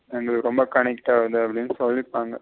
எங்களுக்கு ரெம்ப commit ஆகுது அப்டின்னு சொல்லிப்பாங்க.